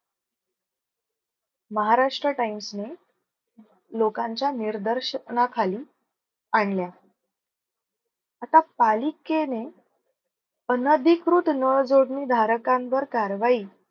Maharashtra times ने लोकांच्या निर्दर्शना खाली आणल्या आता पालिकेने अनधिकृत नळ जोडणी धारकांवर कारवाई